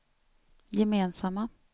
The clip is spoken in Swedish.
gemensamma